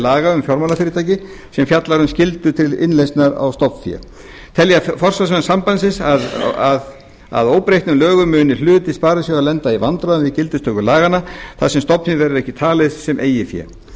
laga um fjármálafyrirtæki sem fjallar um skyldu til innlausnar á stofnfé telja forsvarsmenn sambandsins að óbreyttum lögum muni hluti sparisjóða lenda í vandræðum við gildistöku laganna þar sem stofnfé verði ekki talið sem eigið fé